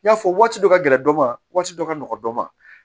N y'a fɔ waati dɔ ka gɛlɛn dɔ ma waati dɔ ka nɔgɔn dɔ ma